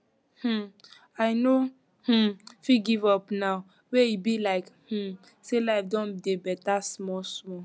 um i no um fit give up now wey e be like um say life don dey beta small small